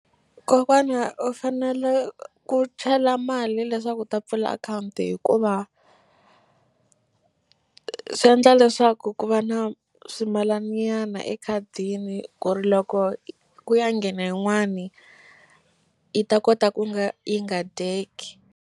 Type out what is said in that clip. Kokwana u fanele ku chela mali leswaku u ta pfula akhawunti hikuva swi endla leswaku ku va na swimalani nyana ekhadini ku ri loko ku ya nghena yin'wani yi ta kota ku nga yi nga dyeki.